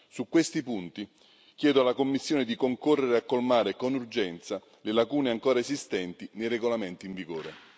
Su questi punti chiedo alla Commissione di concorrere a colmare con urgenza le lacune ancora esistenti nei regolamenti in vigore.